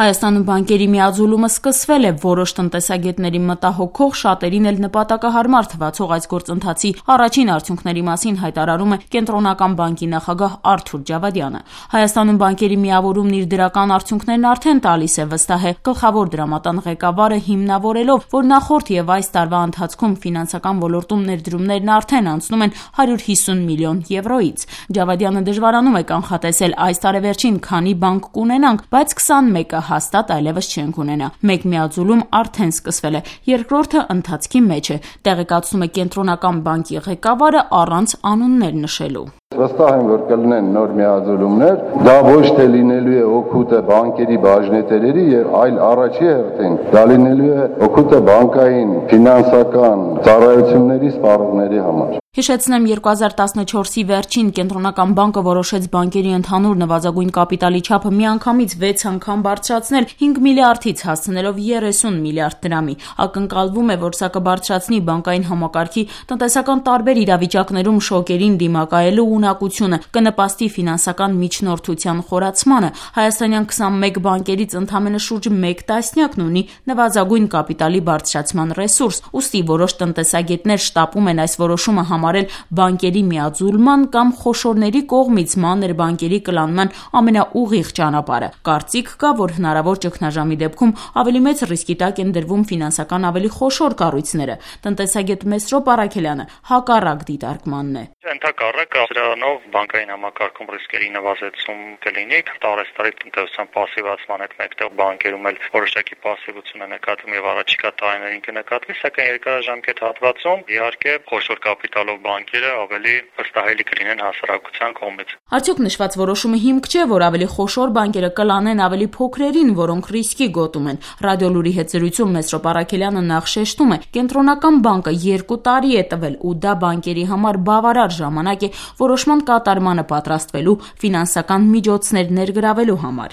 Հայաստանում բանկերի միաձուլումը սկսվել է: Որոշ տնտեսագետների մտահոգող, շատերին էլ նպատակահարմար թվացող այս գործընթացի առաջին արդյունքների մասին հայտարարում է ՀՀ կենտրոնական բանկի նախագահ Արթուր Ջավադյանը: ՀՀ-ում բանկերի միավորումն իր դրական արդյունքներն արդեն տալիս է, վստահ է գլխավոր դրամատան ղեկավարը` հիմնավորելով, որ նախորդ ու այս տարվա ընթացքում ֆինանսական ոլորտում ներդրումներն արդեն անցնում են 150 մլն եվրոյից: Ջավադյանը դժվարանում է կանխատեսել` այս տարեվերջին քանի բանկ կունենանք, բայց 21-ը հաստատ այլեւս չենք ունենա: Մեկ միաձուլում արդեն սկսվել է, երկրորդն ընթացքի մեջ է, տեղեկացնում է ԿԲ ղեկավարը` առանց անուններ նշելու: «Վստահ եմ, որ կլինեն նոր միաձուլումներ: Բայց կարևորն այն է, որ այս ամենը դրական կանդրադառնա մեր բանկային սեկտորի վրա: Դա առաջին հերթին լինելու է բանկային, ֆինանսական ծառայությունների սպառողների օգուտը»։ 2014թ-ի վերջին ԿԲ-ն որոշեց բանկերի ընդհանուր նվազագույն կապիտալի չափը միանգամից 6 անգամ բարձրացնել՝ 5 մլրդ-ից հասցնելով 30 մլրդ դրամի: Ակնկալվում է, որ սա կբարձրացնի բանկային համակարգի` տնտեսական տարբեր իրավիճակներում շոկերին դիմակայելու ունակությունը, կնպաստի ֆինանսական միջնորդության խորացմանը: Հայաստանյան 21 բանկերից ընդամենը շուրջ 1 տասնյակն ունի նվազագույն կապիտալի բարձրացման ռեսուրս: Ուստի որոշ տնտեսագետներ այս որոշումը համարում են բանկերի միաձուլման կամ խոշորների կողմից մանր բանկերի կլանման ամենաուղիղ ճանապարհը: Կարծիք կա, որ հնարավոր ճգնաժամի դեպքում ավելի մեծ ռիսկի տակ են դրվում ֆինանսական ավելի խոշոր կառույցները: Տնտեսագետ Մեսրոպ Առաքելյանը հակառակ դիտարկմանն է, «Ընդհակառակը, սրանով բանկային համակարգում ռիսկերը կկրճատվեն: Տարեցտարի տնտեսության պասիվացմանը զուգահեռ բանկերում էլ է պասիվացում նկատվում ու առաջիկա տարիներին կնկատվի: Բայց երկարաժամկետ հատվածում խոշոր կապիտալով բանկերն առավել վստահելի կլինեն հասարակության կողմից»: Արդյոք նշված որոշումը հիմք չէ, որ ավելի խոշոր բանկերը կլանեն ավելի փոքրերին, որոնք ռիսկի գոտում են: «Ռադիոլուր»-ի հետ զրույցում Մեսրոպ Առաքելյանը նախ շեշտում է` Կենտրոնական բանկը 2 տարի է տվել, ու դա բանկերի համար բավարար ժամանակ է` որոշման կատարմանը պատրաստվելու, ֆինանսական միջոցներ ներգրավելու համար: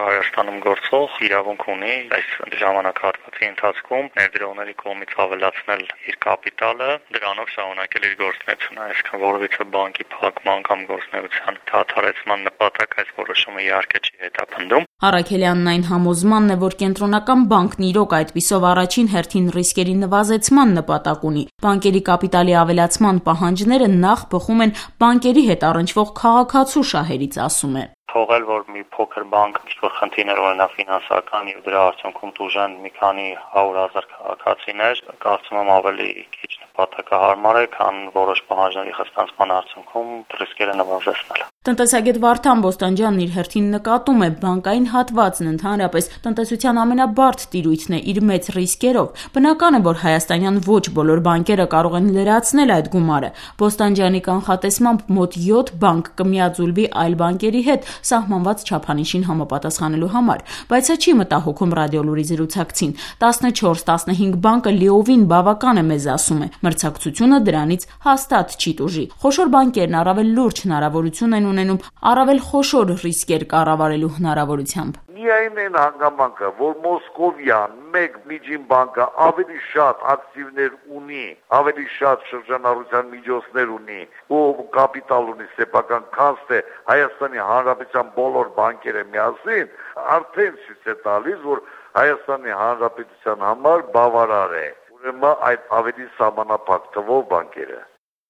«Հայաստանում գործող ամեն բանկ իրավունք ունի այս ժամանակահատվածում ներդրողների կողմից ավելացնել իր կապիտալն ու դրանով շա րունակել իր գործունեությունը: Այսինքն` դրանով որեւէ բանկի փակման, գործունեության դադարեցման նպատակ այս որոշումն, իհարկե, չի հետապնդում»,- ասում է: Առաքելյանն այն համոզմանն է, որ Կենտրոնական բանկն, իրոք, այդպիսով առաջին հերթին ռիսկերի նվազեցման նպատակ ունի: Բանկերի կապիտալի ավելացման պահանջները նախ բխում են բանկերի հետ առնչվող քաղաքացու շահերից, ասում է: «Թողնել, որ մի փոքր բանկ ինչ-որ ֆինանսական խնդիրներ ունենա, ու դրա հետեւանքով տուժեն մի քանի հարյուր հազար քաղաքացիներ, կարծում եմ, պակաս նպատակահարմար է, քան որոշ պահանջների խստացումը»: Տնտեսագետ Վարդան Բոստանջյանն իր հերթին նկատում է` բանկային հատվածն, ընդհանրապես, տնտեսության ամենաբարդ տիրույթն է` իր մեծ ռիսկերով: Բնական է, որ հայաստանյան ոչ բոլոր բանկերը կարող են լրացնել այդ գումարը: Բոստանջյանի կանխատեսմամբ` մոտ 7 բանկ կմիաձուլվի այլ բանկերի հետ` սահմանված չափանիշին համապատասխանելու համար: Բայց սա չի մտահոգում «Ռադիոլուր»-ի զրուցակցին: 14-15 բանկը լիովին բավական է մեզ, ասում է: Մրցակցությունը դրանից հաստատ չի տուժի: Խոշոր բանկերն առավել լուրջ հնարավորություն են ունենում` առավելու խոշոր ռիսկեր կառավարելու հնարավորությամբ: «Միայն այն հանգամանքը, որ մոսկովյան միջին բանկն ավելի շատ ակտիվներ ու շրջանառության միջոց ունի, քան ՀՀ բոլոր բանկերը միասին, արդեն ցույց է տալիս, որ մեզ բավարար են ավելի փոքր թվով բանկերը»: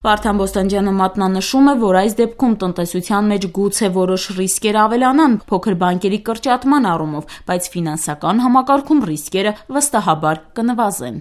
Վարդան Բոստանջյանն մատնանշում է, որ այս դեպքում տնտեսության մեջ գուցե որոշ ռիսկեր ավելանան` փոքր բանկերի կրճատման առումով, բայց ֆինանսական համակարգում ռիսկերը, վստահաբար, կնվազեն: